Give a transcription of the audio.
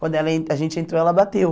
Quando ela a gente entrou, ela bateu.